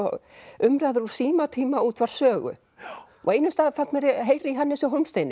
umræður úr símatíma útvarps Sögu og á einum stað fannst mér ég heyra í Hannesi Hólmsteini